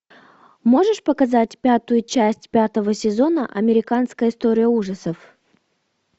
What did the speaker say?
можешь показать пятую часть пятого сезона американская история ужасов